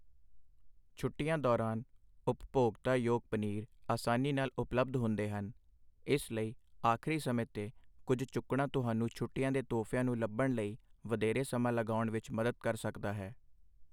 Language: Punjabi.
ਛੁੱਟੀਆਂ ਦੌਰਾਨ ਉਪਭੋਗਤਾ ਯੋਗ ਪਨੀਰ ਆਸਾਨੀ ਨਾਲ ਉਪਲਬਧ ਹੁੰਦੇ ਹਨ, ਇਸ ਲਈ ਆਖਰੀ ਸਮੇਂ 'ਤੇ ਕੁੱਝ ਚੁੱਕਣਾ ਤੁਹਾਨੂੰ ਛੁੱਟੀਆਂ ਦੇ ਤੋਹਫ਼ਿਆਂ ਨੂੰ ਲੱਭਣ ਲਈ ਵਧੇਰੇ ਸਮਾਂ ਲਗਾਉਣ ਵਿੱਚ ਮਦਦ ਕਰ ਸਕਦਾ ਹੈ।